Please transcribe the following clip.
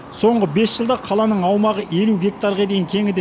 соңғы бес жылда қаланың аумағы елу гектарға дейін кеңіді